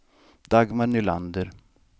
Dagmar Nylander